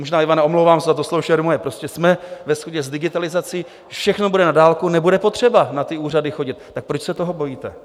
Možná, Ivane, omlouvám se za to slovo šermuje, prostě jsme ve shodě s digitalizací, všechno bude na dálku, nebude potřeba na ty úřady chodit, tak proč se toho bojíte?